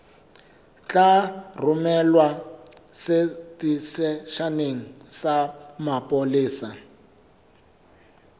tla romelwa seteisheneng sa mapolesa